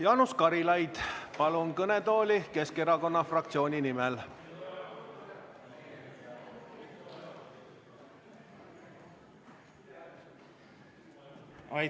Jaanus Karilaid, palun kõnetooli Keskerakonna fraktsiooni nimel!